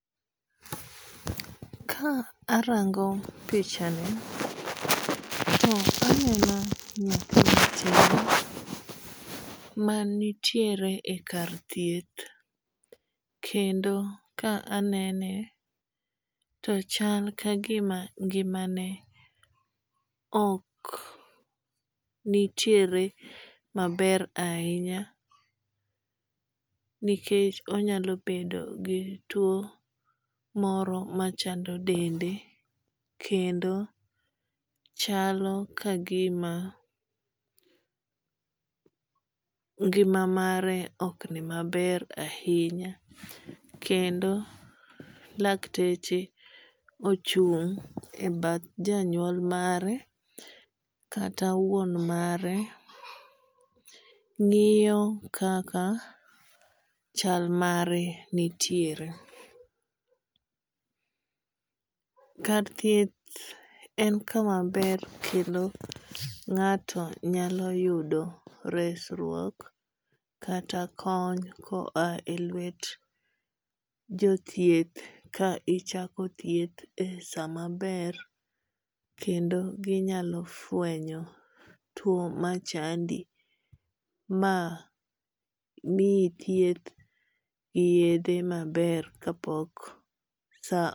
Ka arango pichani to aneno nyathi matin manitiere e kar thieth kendo ka anene to chal kagima ngimane ok nitiere maber ahinya nikech onyalo bedo gi tuo moro machando dende kendo chalo kagima ngima mare ok ni maber ahinya. Kendo lakteche ochung' e bath janyuol mare kata wuon mare ng'iyo kaka chal mare nitiere. Kar thieth en kama ber kendo ng'ato nyalo yudo resruok kata kony ko a e lwet jo thieth ka ichako thieth e sama ber kendo ginyalo fwenyo tuo machandi ma miyi thith gi yedhe maber kapok as